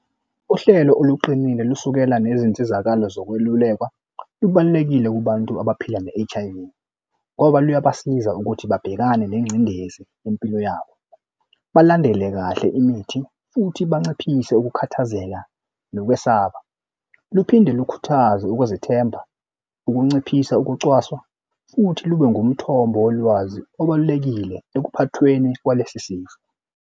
Uhlelo oluqinile lusukela nezinsizakalo zokwelulekwa lubalulekile kubantu abaphila ne-H_I_V ngoba luyabasiza ukuthi babhekane nengcindezi yempilo yabo, balandele kahle imithi futhi banciphise ukukhathazeka nokwesaba. Luphinde lukhuthaze ukwezethemba ukunciphisa ukucwaswa futhi lube ngumthombo wolwazi obalulekile ekuphathweni kwalesi sifo.